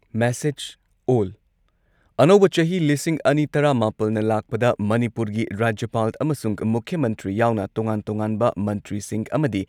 message ꯑꯣꯜ ꯑꯅꯧꯕ ꯆꯍꯤ ꯂꯤꯁꯤꯡ ꯑꯅꯤ ꯇꯔꯥꯃꯥꯄꯜꯅ ꯂꯥꯛꯄꯗ ꯃꯅꯤꯄꯨꯔꯒꯤ ꯔꯥꯖ꯭ꯌꯄꯥꯜ ꯑꯃꯁꯨꯡ ꯃꯨꯈ꯭ꯌ ꯃꯟꯇ꯭ꯔꯤ ꯌꯥꯎꯅ ꯇꯣꯉꯥꯟ-ꯇꯣꯉꯥꯟꯕ ꯃꯟꯇ꯭ꯔꯤꯁꯤꯡ ꯑꯃꯗꯤ